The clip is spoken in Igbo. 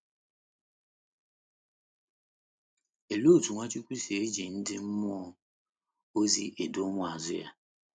Olee otú Nwachukwu si eji ndị mmụọ ozi edu ụmụazụ ya?